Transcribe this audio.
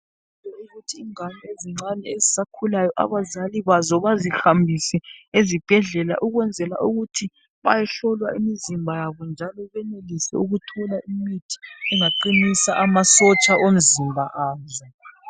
Ukuthi ingane ezincane ezisakhulayo abazali bazo bazihambise ezibhedlela ukwenzela ukuthi bayehlolwa imizimba yabo njalo benelise ukuthola imithi engaqinisa amasotsha omzimba azo .